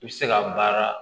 I bɛ se ka baara